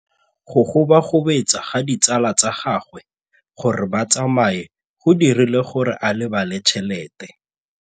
Go gobagobetsa ga ditsala tsa gagwe, gore ba tsamaye go dirile gore a lebale tšhelete.